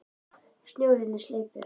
Snjórinn er sleipur!